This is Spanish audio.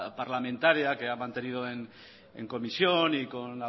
parlamentaria que ha mantenido en comisión y con